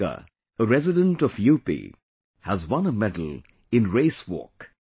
Priyanka, a resident of UP, has won a medal in Race Walk